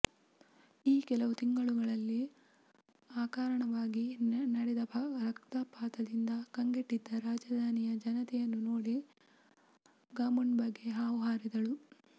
ಈ ಕೆಲವು ತಿಂಗಳುಗಳಲ್ಲಿ ಅಕಾರಣವಾಗಿ ನಡೆದ ರಕ್ಷಪಾತದಿಂದ ಕಂಗೆಟ್ಟಿದ್ದ ರಾಜಧಾನಿಯ ಜನತೆಯನ್ನು ನೋಡಿ ಗಾಮುಂಡಬ್ಬೆ ಹೌಹಾರಿದಳು